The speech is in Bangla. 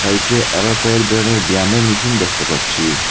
সাইটে আরো কয়েক ধরনের ব্যায়ামের মেশিন দেখতে পাচ্ছি।